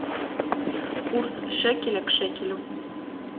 курс шекеля к шекелю